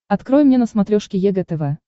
открой мне на смотрешке егэ тв